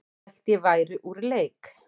Hélt að ég væri úr leik